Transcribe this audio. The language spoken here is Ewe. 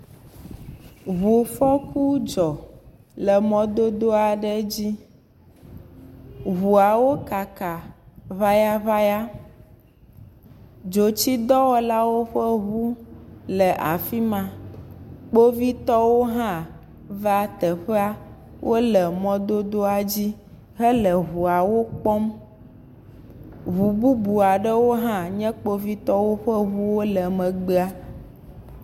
Ŋufɔku dzɔ le mɔdodoa ɖe dzi. Ŋuawo kaka ŋayaŋaya. Dzotsidɔwɔlawo ƒe ŋu le afi ma. Kpovitɔwo hã va teƒea. Wole mɔdodoa dzi hele ŋuawo kpɔm. Ŋu bubua ɖewo hã nye kpovitɔwo ƒe ŋuwo le megbea.